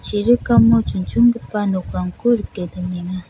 chirikamo chonchongipa nokrangko rike donenga.